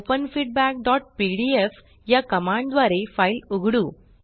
open feedbackपीडीएफ या command द्वारे फाइल उघडू